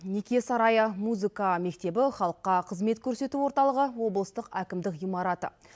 неке сарайы музыка мектебі халыққа қызмет көрсету орталығы облыстық әкімдік ғимараты